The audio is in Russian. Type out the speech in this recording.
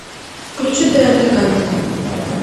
включи тнт камеди